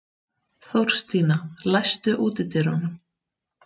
Þórstína, læstu útidyrunum.